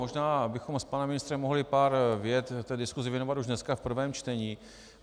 Možná bychom s panem ministrem mohli pár vět v diskusi věnovat už dneska v prvém čtení.